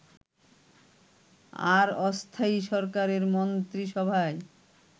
আর অস্থায়ী সরকারের মন্ত্রীসভায়